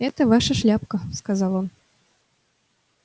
это ваша шляпка сказал он